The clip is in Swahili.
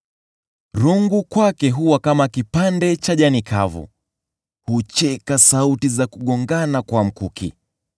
Rungu kwake huwa kama kipande cha jani kavu; hucheka sauti za kugongana kwa mkuki.